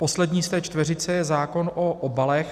Poslední z té čtveřice je zákon o obalech.